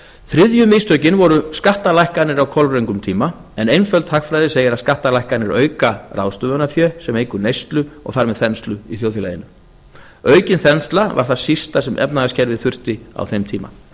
þriðju mistökin voru skattalækkanir á kolröngum tíma en einföld hagfræði segir skattalækkanir auka ráðstöfunarfé sem eykur neyslu og þar með þenslu í þjóðfélaginu aukin þensla var það sísta sem efnahagskerfið þurfti á þeim tíma